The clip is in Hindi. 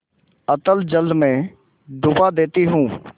अतल जल में डुबा देती हूँ